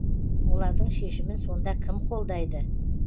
олардың шешімін сонда кім қолдайды